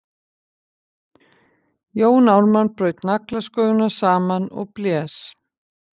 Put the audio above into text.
Jón Ármann braut naglasköfuna saman og blés.